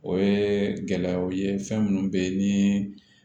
O ye gɛlɛyaw ye fɛn minnu bɛ ni